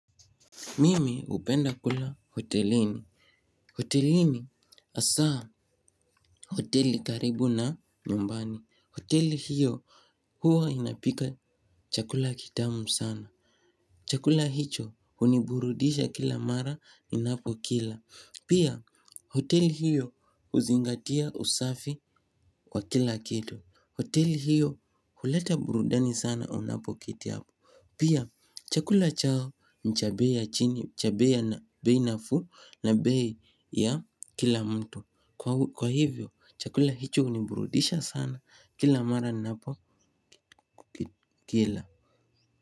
Mimi hupenda kula hotelini. Hotelini hasaa hoteli karibu na nyumbani. Hoteli hiyo huwa inapika chakula kitamu sana. Chakula hicho huniburudisha kila mara inapokila. Pia hoteli hiyo huzingatia usafi wa kila kitu. Hoteli hiyo huleta burudani sana unapoketi hapo. Pia chakula chao ni cha bei ya chini cha bei na bei nafuu na bei ya kila mtu kwa hivyo chakula hicho huniburudisha sana. Kila mara napokila.